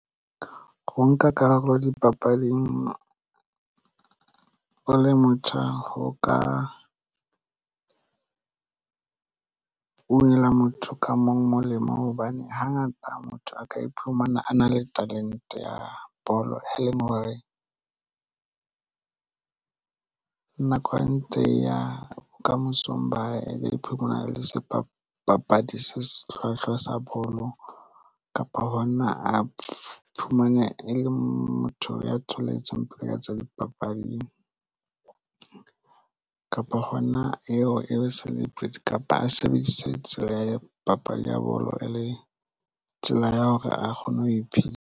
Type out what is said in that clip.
Ho nka karolo dipapading o le motjha ho ka unela motho ka mong molemo hobane hangata motho a ka iphumana a na le talente ya bolo e leng hore nako e ntse e ya bokamosong bae phumana le sebapadi se hlwahlwa sa bolo kapa hona a iphumane e le motho ya tholetseng peo ya tsa dipapading a kapa hona eo e sale prayed kapa a sebedise tsela ya papadi ya bolo e le tsela ya hore a kgone ho iphedisa.